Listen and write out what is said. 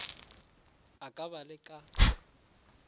a ka ba le ka